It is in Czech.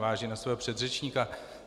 Navážu na svého předřečníka.